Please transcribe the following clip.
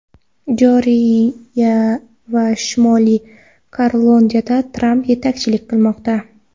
Jorjiya va Shimoliy Karolinada Tramp yetakchilik qilmoqda.